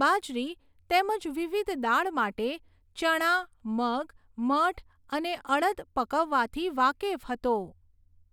બાજરી તેમજ વિવિધ દાળ માટે ચણા, મગ, મઠ અને અડદ પકવવાથી વાકેફ હતો.